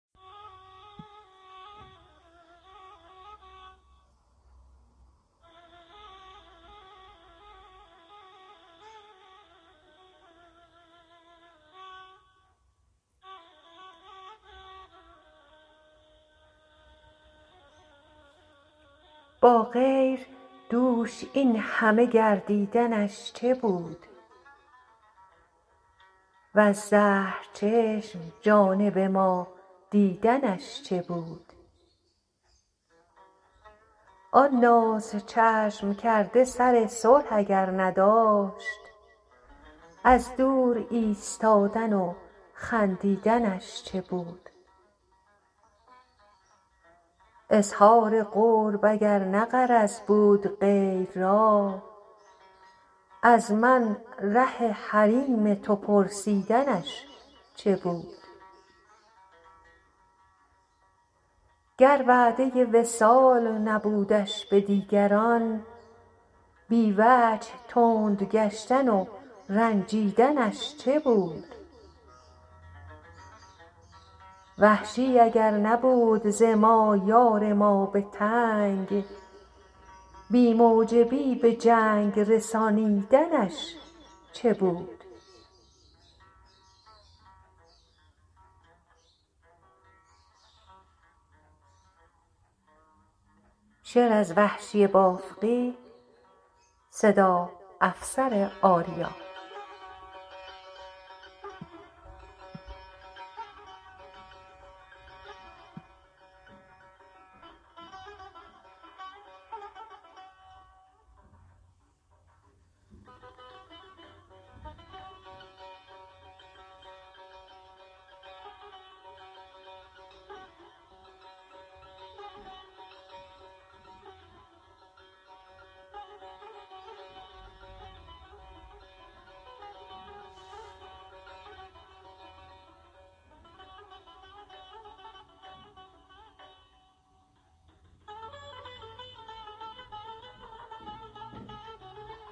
با غیر دوش اینهمه گردیدنش چه بود و ز زهر چشم جانب ما دیدنش چه بود آن ناز چشم کرده سر صلح اگر نداشت از دور ایستادن و خندیدنش چه بود اظهار قرب اگر نه غرض بود غیر را از من ره حریم تو پرسیدنش چه بود گر وعده وصال نبودش به دیگران بی وجه تند گشتن و رنجیدنش چه بود وحشی اگر نبود زما یار ما به تنگ بی موجبی به جنگ رسانیدنش چه بود